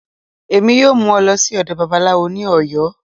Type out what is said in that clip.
Emi yọọ mu ọ lọ si ọdọ Babalawọ ni Oyo.